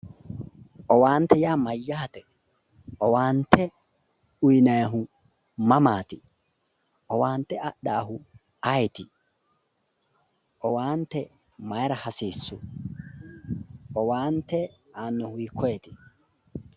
owaante yaa mayyaate? owaante uyiinannihu mamaati? owaante adhaahu ayeeti? owaante mayiira hasiissu? owaante aannohu hiikkoneeti?